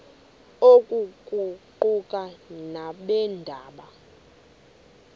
oku kuquka nabeendaba